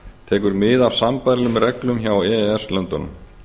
tekur mið af sambærilegum reglum hjá e e s löndunum